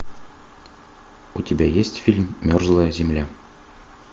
у тебя есть фильм мерзлая земля